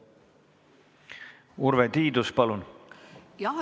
Urve Tiidus, palun!